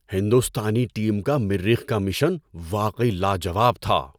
ہندوستانی ٹیم کا مریخ کا مشن واقعی لا جواب تھا!